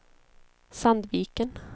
Sandviken